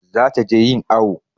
Za ta je yin awu